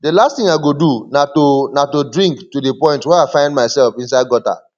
the last thing i go do na to na to drink to the point where i find myself inside gutter